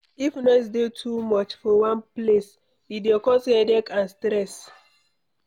If noise dey too much for one place, e dey cos headache and stress